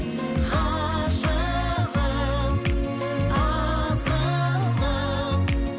ғашығым асылым